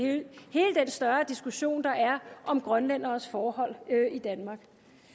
større diskussion der er om grønlænderes forhold i danmark